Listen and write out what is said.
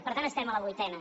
per tant estem a la vuitena